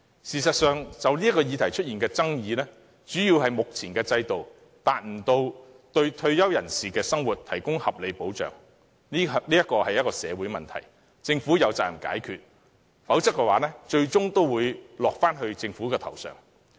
事實上，這項議題的爭議，主要是目前的制度無法為退休人士的生活提供合理保障，這是一項社會問題，政府有責任解決，否則後果最終仍會由政府承擔。